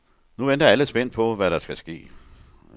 Nu venter alle så spændt på, hvad der skal ske.